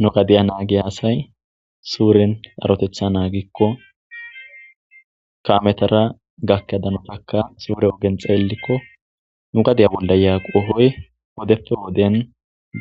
Nu gadiya nagiya asay suren sarotetha nagikon kametara gakida danitaka sure ogen xelikon nu gadiya bolla hiya qohoy wideppe wodden